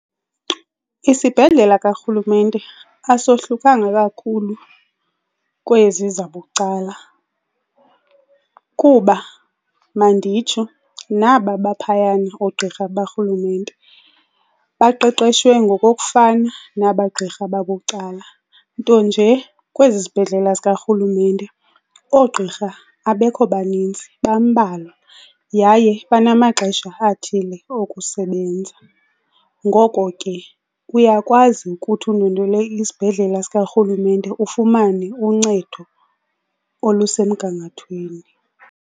Isibhedlela karhulumente asohlukanga kakhulu kwezi zabucala kuba, manditsho naba baphayana oogqirha barhulumente baqeqeshwe ngokokufana naba gqirha babucala, nto nje kwezi zibhedlela zikarhulumente oogqirha abekho baninzi, bambalwa, yaye banamaxesha athile okusebenza. Ngoko ke uyakwazi ukuthi undwendwele isibhedlela sikarhulumente ufumane uncedo olusemgangathweni.